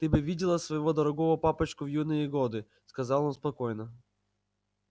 ты бы видела своего дорогого папочку в его юные годы сказала она спокойно